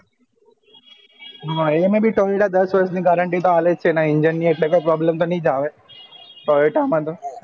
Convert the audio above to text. તો એમાં ભી tavera દસ વર્ષ ની guarantee અલે જ છે એના engine એટલે કોઈ problem તો નહિ જ આવે toyota મા તો